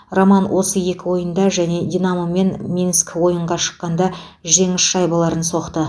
роман осы екі ойында және динамомен минск ойынға шыққанда жеңіс шайбаларын соқты